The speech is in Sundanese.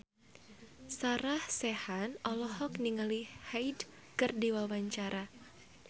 Sarah Sechan olohok ningali Hyde keur diwawancara